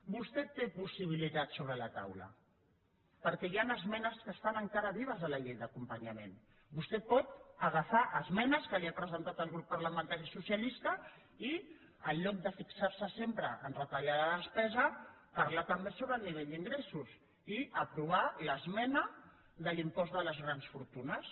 vostè té possibilitats sobre la taula perquè hi han esmenes que estan encara vives a la llei d’acompanyament vostè pot agafar esmenes que li ha presentat el grup parlamentari socialista i en lloc de fixar se sempre a retallar la despesa parlar també sobre el nivell d’ingressos i aprovar l’esmena de l’impost de les grans fortunes